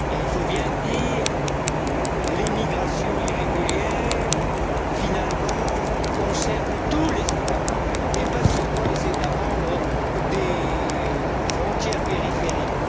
Il faut bien le dire, l'immigration irrégulière, finalement, concerne tous les États membres, et pas seulement les États membres des frontières périphériques.